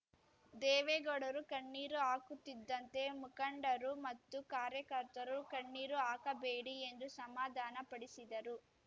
ದೇವೇಗೌಡರು ಕಣ್ಣೀರು ಹಾಕುತ್ತಿದ್ದಂತೆ ಮುಖಂಡರು ಮತ್ತು ಕಾರ್ಯಕರ್ತರು ಕಣ್ಣೀರು ಹಾಕಬೇಡಿ ಎಂದು ಸಮಾಧಾನಪಡಿಸಿದರು